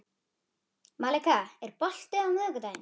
Malika, er bolti á miðvikudaginn?